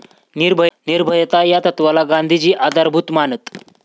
निर्भयता या तत्वाला गांधीजी आधारभूत मानत.